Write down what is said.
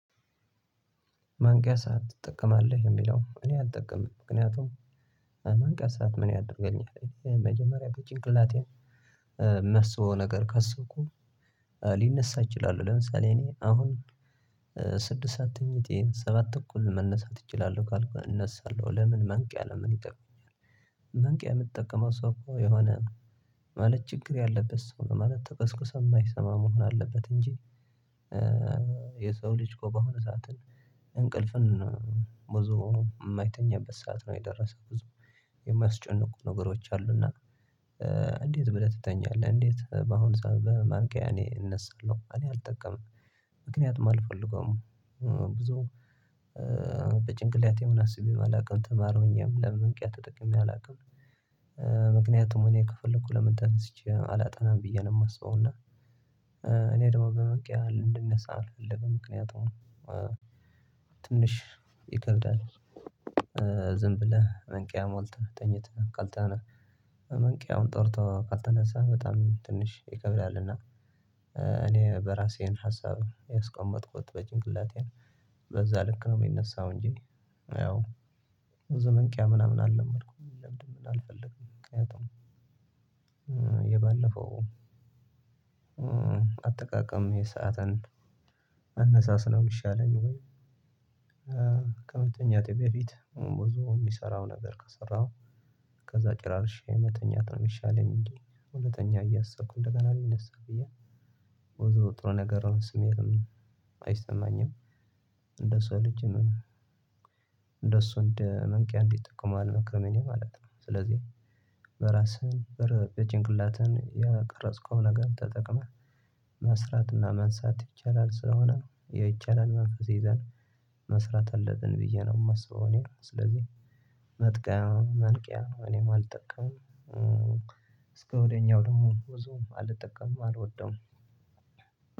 ማንቂያ ሰዓት ትጠቀማለህ? የሚለው እኔ አልጠቀምም። ምክንያቱም ማንቂያ ሰዓት ምን ያደርገኛል። መጀመሪያ በጭንቅላቴ የማስበው ነገር ካሰብኩ ልነሳ እችላለው። ለምሳሌ እኔ አሁን ስድስት ሰዓት ተኝቼ ሰባት ከእኩል መነሳት እችላለሁ ካልኩኝ እነሳለሁ። ለምን ማንቂያ ለምን ይጠቅማል። ማንቂያ የሚጠቀመው ሰው እኮ የሆነ ማለት ችግር ያለበት ሰው ነው። ማለት ተቀስቅሶ የማይሰማ መሆን አለበት እንጂ የሰው ልጅኮ ሆነ ሰዓትን እንቅልፍን ብዙ የማይተኛበት ሰዓት ነው የደረሰው። ብዙ የሚያስጨንቁ ነገሮች አሉ። እና እንዴት ብለህ ትተኛለህ? እንዴት በአሁን ሰዓት በማንቂያ እኔ እነሳለሁ? እኔ አልጠቀምም። ምክንያቱም አልፈልገውም። ብዙ በጭንቅላቴም አስቤም አልቅም ተማሪ ሁኜም ለማንቂያ ተጠቅሜ አላውቅም። ምክንያቱም እኔ ከፈለኩ ለምን ተነስቼ አላጠናም ብዬ ነው የማስበው። እና እኔ ደግሞ በማንቂያ እንድነሳ አልፈልግም። ምክንያቱም ትንሽ ይከብዳል ዝም ብለህ መንቂያ ሞልተህ ተኝተህ ካልተን ማንቂያውን ጠርቶ ካልተነሳህ በጣም ትንሽ ይከብዳል። እና እኔ በራሴን ሀሳብ ያስቀመጥኩት በጭንቅላቴ በዛ ልክ ነው የምነሳው እንጂ ያው በማንቂያ ምናምን አልለመድኩም። የመልመድም አልፈልግም። ምክንያቱም የባለፈው አጠቃቀም ይሄ ሰዓትን አነሳስ ነው የሚሻለኝ ወይ ከመተኛት በፊት ብዙ የሚሰራው ነገር ከሰራሁ ከዛ ጭራርሽ የመተኛት ነው የሚሻለኝ። እንጂ ልተኛ እያሰብኩ እንደገና ልነሳ ብዬ ብዙ ጥሩ ነገር ስሜትም አይሰማኝም። እንደሱ ልጅም እንደሱ እንደ ማንቂያ እንዲጠቀመው አልመክርም እኔ ማለት ነው። ስለዚህ በራስህ በጭንቅላትህ ያቀረጽከው ነገር ተጠቅመህ መስራትና መነሳት ይቻላል። ስለሆነ የይቻላል መንፈስ ይዘን መስራት አለትን ብዬ ነው የማስበው እኔ። ስለዚህ መጥቀው ማንቂያ እኔም አልጠቀምም። እስከ ወዲያኛው ደግሞ ብዙም አልጠቀምም አልወደውም።